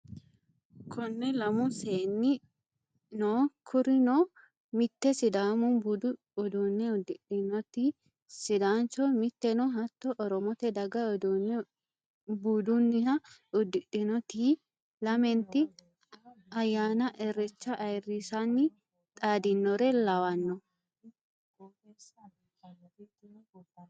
Kone lamu seenni no kurino mite sidaamu budu uduune uddidhinoti sidaancho miteno hatto oromote daga uduune buduniha uddidhinoti lamenti ayyanna irechuha ayirrisanni xaadinore lawano.